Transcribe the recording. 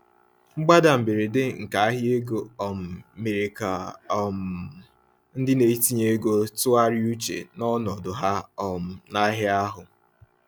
Mgbada mberede nke ahịa ego um mere ka um ndị na-etinye ego tụgharịa uche na ọnọdụ ha um n'ahịa ahụ.